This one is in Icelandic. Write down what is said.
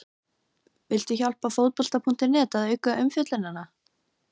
Viltu hjálpa Fótbolta.net að auka umfjöllunina?